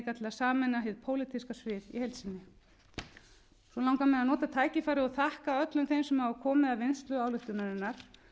sameina hið pólitíska svið í heild sinni svo langar mig að nota tækifærið og þakka öllum þeim sem hafa komið að vinnslu ályktunarinnar